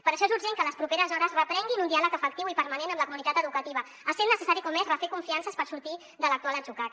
per això és urgent que a les properes hores reprenguin un diàleg efectiu i permanent amb la comunitat educativa essent necessari com és refer confiances per sortir de l’actual atzucac